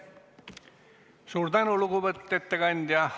Suur tänu, lugupeetud ettekandja!